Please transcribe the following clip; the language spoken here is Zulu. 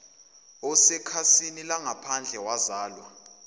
osekhasini langaphandle wazalwa